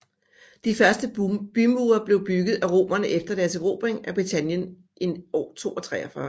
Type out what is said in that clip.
De første bymure blev bygget af romerne efter deres erobring af Britannien i år 43